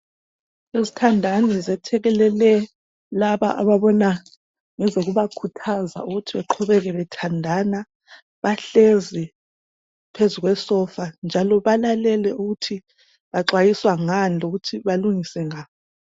Izithandani zethekelele laba ababona ngezokubakhuthaza ukuthi baqhubeke bethandana, bahlezi phezu kwesofa njalo balalele ukuthi baxwayiswa ngani lokuthi balungise nga.